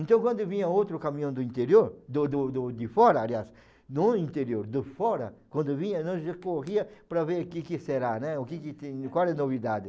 Então, quando vinha outro caminhão do interior, do do do de fora, aliás, no interior, do fora, quando vinha, a gente corria para ver que que será, né, o que que tem, qual novidade.